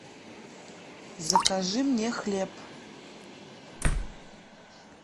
закажи мне хлеб